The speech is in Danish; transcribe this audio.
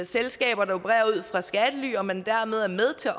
selskaber der opererer ud fra skattely og man dermed er med til